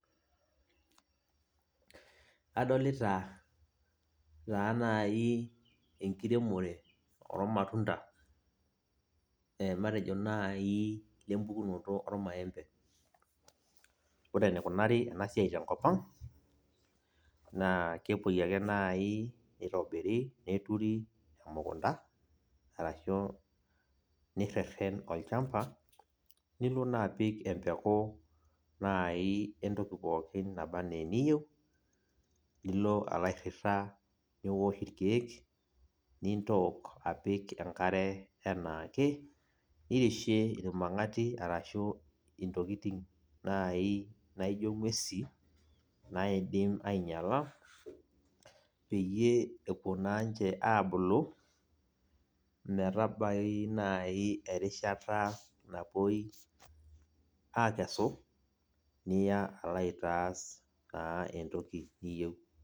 Adolita taa naaji enkiremore oormatunta matejo naa nempukono oormatunda ore enaikubari ena siai tenkop ang kepuoi ake naai neitobiri neturi emukunta arashuu nireren olchamba nilo apik empeku naai entoki pookin nabanaa eniyieu nipik irkiek nintook apik enkare enaake nirishie irmang'ati ashuu intokitin naaji naijio ing'uesin naidim ainyiala peyie epuo naa ninche aabulu metabai naaji erishata napuoi aakesu niya aitas entoki niyieu.